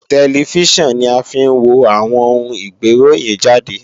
Tẹlifíṣàn ni a fi ń wo àwọn oun ìgbéròhìnjàde